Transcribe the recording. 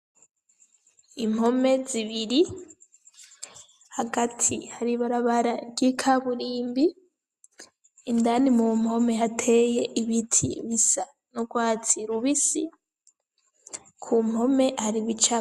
Impome zibiri, hagati hari ibarabara ry'ikaburimbi, indani mu mpome hateye ibiti vy'urwatsi rubisi, ku mpome hari ibicapo.